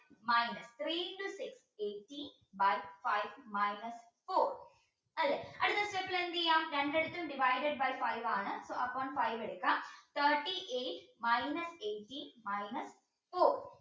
minus three into by five minus four അല്ലേ അടുത്ത step ൽ എന്ത് ചെയ്യാം രണ്ടിടത്തും divided by five ആണ് so upon five എടുക്കാം thirty eight minus eighteen minus four